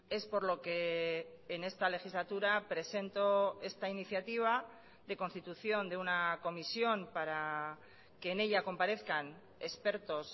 es por lo que en esta legislatura presento esta iniciativa de constitución de una comisión para que en ella comparezcan expertos